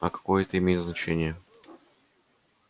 а какое это имеет значение